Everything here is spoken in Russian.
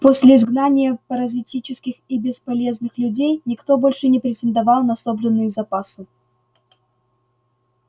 после изгнания паразитических и бесполезных людей никто больше не претендовал на собранные запасы